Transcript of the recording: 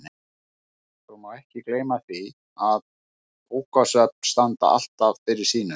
Svo má ekki gleyma því að bókasöfn standa alltaf fyrir sínu.